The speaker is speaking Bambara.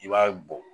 I b'a bɔ